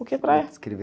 O que é praia?